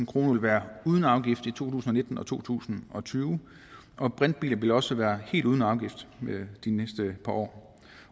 kroner vil være uden afgift i to tusind og nitten og to tusind og tyve og at brintbiler også vil være helt uden afgift de næste par år